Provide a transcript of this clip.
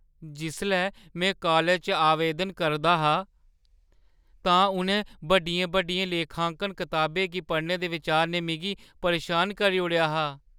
जिसलै में कालज च आवेदन करा 'रदा हा तां उ'नें बड्डियें-बड्डियें लेखांकन कताबें गी पढ़ने दे बिचार ने मिगी परेशान करी ओड़ेआ हा।